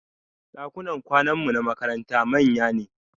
Ɗakunan kwananmu na makaranta manya ne